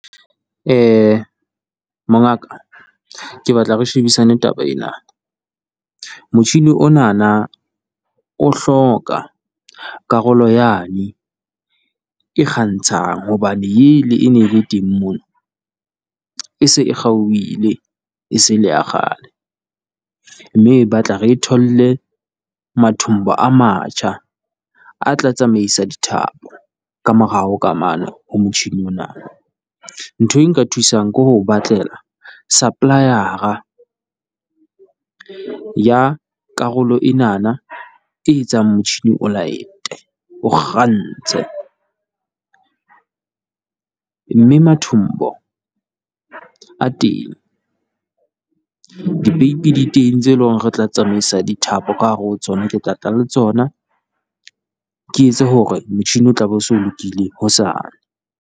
Mongaka ke batla re shebisane taba ena, motjhini onana o hloka karolo yane e kgantshang, hobane ele e ne e le teng mono e se e kgaohile e se e le ya kgale. Mme e batla re e tholle mathombo a matjha, a tla tsamaisa dithapo ka morao ka mane ho motjhini ona. Ntho e nka thusang ke ho batlela supplier-ra ya karolo enana e etsang motjhini o light-e o kgantse, mme mathombo a teng, dipeipi di teng tse leng re tla tsamaisa dithapo ka hare ho tsona. Ke tla tla le tsona, ke etse hore motjhini o tla be o se lokile hosane.